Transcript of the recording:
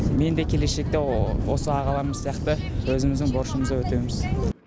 мен де келешекте осы ағаларым сияқты өзіміздің борышымызды өтеймін